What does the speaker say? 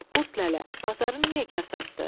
Qurd lələ, bazarın niyə kasaddır?